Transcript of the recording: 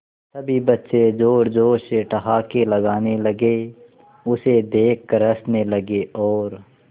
सभी बच्चे जोर जोर से ठहाके लगाने लगे उसे देख कर हंसने लगे और